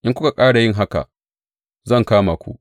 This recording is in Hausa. In kuka ƙara yin haka, zan kama ku.